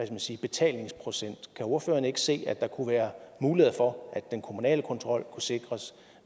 man sige betalingsprocent kan ordføreren ikke se at der kunne være muligheder for at den kommunale kontrol kunne sikres